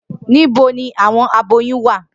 Nibo ni awọn aboyun wa?